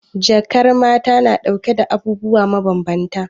Jakar mata na dauke da abubuwa mabambanta.